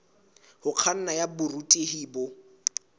ho kganna ya borutehi bo